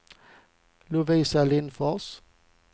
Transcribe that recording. Lovisa Lindfors